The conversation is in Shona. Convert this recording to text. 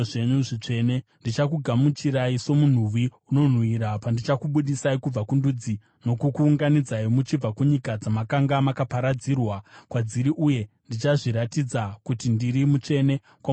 Ndichakugamuchirai somunhuwi unonhuhwira pandichakubudisai kubva kundudzi nokukuunganidzai muchibva kunyika dzamakanga makaparadzirwa kwadziri uye ndichazviratidza kuti ndiri mutsvene kwamuri pamberi pendudzi.